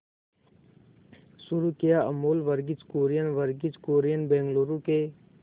शुरू किया अमूल वर्गीज कुरियन वर्गीज कुरियन बंगलूरू के